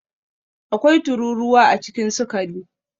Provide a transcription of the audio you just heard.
Akwai tururuwa a cikin sukari